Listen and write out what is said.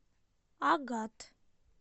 агат